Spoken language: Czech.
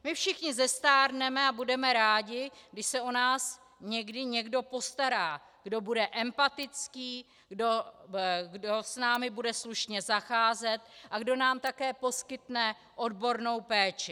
My všichni zestárneme a budeme rádi, když se o nás někdy někdo postará, kdo bude empatický, kdo s námi bude slušně zacházet a kdo nám také poskytne odbornou péči.